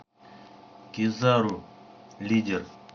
кизару лидер